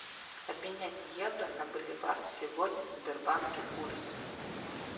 обменять евро на боливар сегодня в сбербанке курс